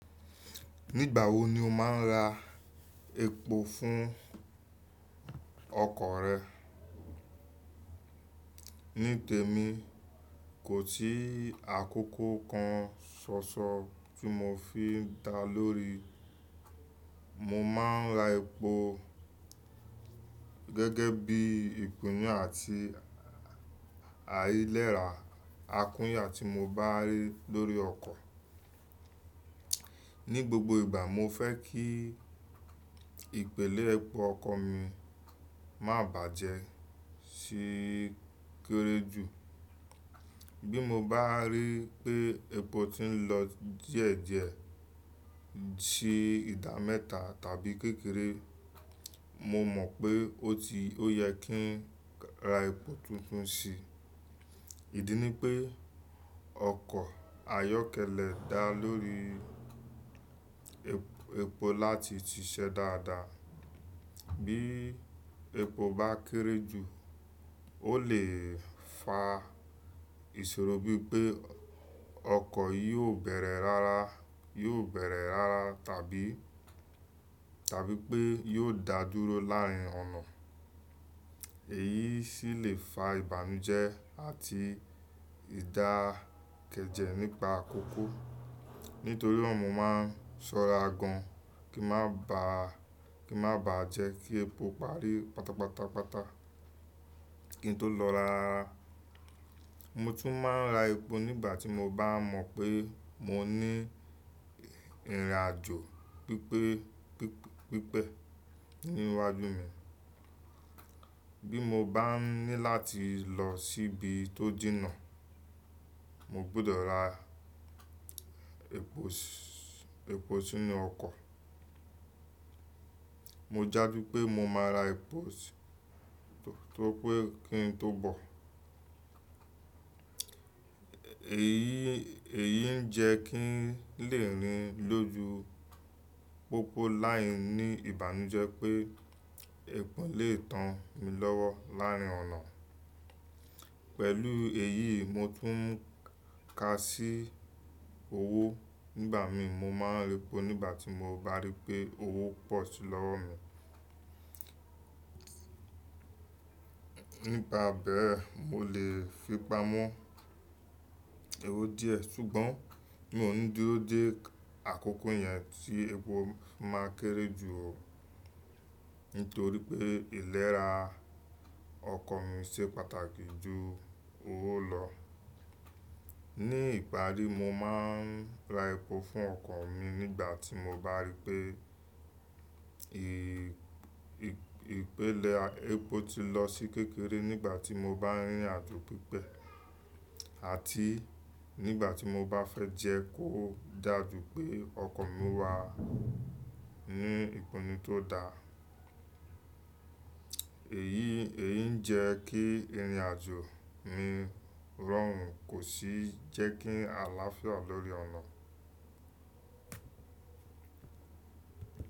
Nígbà wo ni o máa ń ra epo fún ọkọ̀ rẹ? Ní tèmi, kò sí àkókò kan ṣoṣo tí mo fi ń dáa lórí. Mo máa ń ra epo gẹ́gẹ́ bí i ìpinu àti àìlera akúnyà tí mo bá rí lórí ọkọ̀. Ní gbogbo ìgbà, mo fẹ́ kí ìpele epo ọkọ̀ mi má bàjẹ́ ṣi kéré jù. Bí mo bá rí pé epo ti ń lọ díẹ̀díẹ̀ sí ìda mẹ́ta tàbí kékeré, mo mọ̀ pé ó yẹ kí n ra epo tuntun sí. Ìdí ni pé ọkọ̀ ayọ́kẹ́lẹ́ dáa lórí epo láti ṣiṣẹ́ dáadáa. Bí epo bá kéré jù, ó lè fa ìṣòro bí pé ọkọ̀ kò ni bẹ̀rẹ̀ rárá tàbí pé yò dà dúró láàrin ọ̀nà. Èyí sì lè fa ìbànújẹ́ àti ìdákẹ́jẹ́ nípa àkókò. Nítorí náà, mo máa ń ṣọ́ra gan kí a má bàjẹ́ kí epo parí pátapátapáta kí n tó lọ rá. Mo tún máa ń ra epo nígbà tí mo bá mọ̀ pé mo ní ìrìnàjò pípẹ́ níwájú mi. Bí mo bá ní láti lọ síbi tó jìnà, mo gbọ́dọ̀ ra epo sí inú ọkọ̀. Mo jáde pé mo máa ra epo tó pé kí n tó bọ̀. Èyí ń jẹ́ kí n lè rìn lójú pópó láìní ìbànújẹ́ pé epo lè tán mi lọ́wọ́ láàrin ọ̀nà. Pẹ̀lú èyí, mo tún ń ka sí owó nígbà mi. Mo máa ń ra epo nígbà tí mo bá rí pé owó pọ̀ sí lọ́wọ́ mi. Nípa bẹ́ẹ̀, mo lè fipamọ́ owó díẹ̀ ṣùgbọ́n mi ò ní dúró dé àkókò yẹn tí epo máa kéré jù nítorí pé ìlera ọkọ̀ mi ṣe pàtàkì jù owó lọ. Ní ìparí, mo máa ń ra epo fún ọkọ̀ mi nígbà tí mo bá rí pé epo ti lọ sí kékeré, nígbà tí mo bá rí ìrìnàjò pípẹ́ àti nígbà tí mo bá fẹ́ jẹ́ kó dàjú pé ọkọ̀ mi wà ní ìpinnu tó dá. Èyí ń jẹ́ kí ìrìnàjò mi rọrùn kò sì jẹ́ kí àlàáfíà lórí ọ̀nà.